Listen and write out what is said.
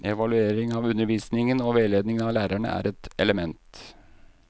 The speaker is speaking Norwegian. Evaluering av undervisningen og veiledning av lærerne er et element.